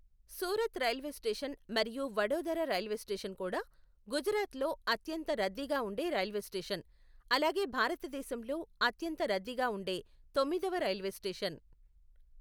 Surat railway station మరియు Vadodara railway station కూడా గుజరాత్లో అత్యంత రద్దీగా ఉండే రైల్వే స్టేషన్, అలాగే భారతదేశంలో అత్యంత రద్దీగా ఉండే తొమ్మిదవ రైల్వే స్టేషన్.